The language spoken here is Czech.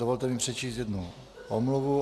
Dovolte mi přečíst jednu omluvu.